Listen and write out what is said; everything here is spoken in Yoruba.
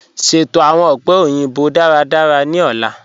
Sẹto awọn ọ̀pẹ̀ oyinbo dáràdárà ni ọ̀lá.